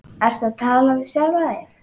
Ertu að tala við sjálfa þig?